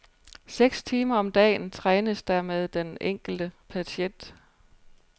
Seks timer om dagen trænes der med den enkelte patient.